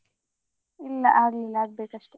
ಇಲ್ಲಾ ಆಗ್ಲಿಲ್ಲ ಆಗ್ಬೇಕಷ್ಟೆ.